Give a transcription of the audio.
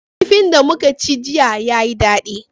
Kifin da muka ci jiya yayi daɗi.